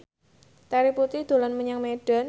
Terry Putri dolan menyang Medan